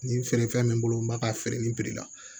Nin feerefɛn mɛ n bolo n b'a ka feere ni piri la